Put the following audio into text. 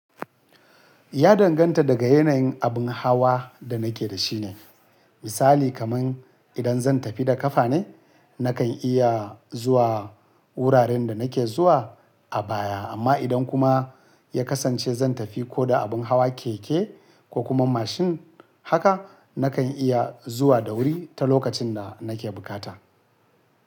Ya danganta daga yanayin abin hawa da nake da shi ne. Misali kaman idan zan tafi da ƙafa ne, nakan iya zuwa wuraren da nake zuwa a baya amma idan kuma ya kasance zan tafi ko da abin hawa keke ko kuma mashin haka, nakan iya zuwa da wuri ta lokacin da nake bukata.